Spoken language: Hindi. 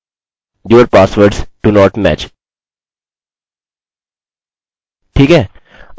और यह होगा जो हमने पहले बोला था if username is greater than 25